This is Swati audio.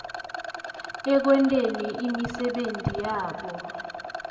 ekwenteni imisebenti yabo